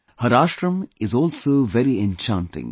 Her ashram is also very enchanting